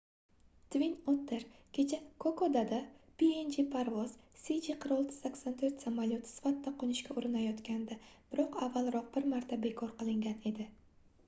twin otter kecha kokodada png parvoz cg4684 samolyoti sifatida qoʻnishga urinayotgandi biroq avvalroq bir marta bekor qilingan edi